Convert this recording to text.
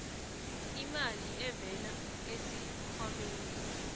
imali evela esikhwameni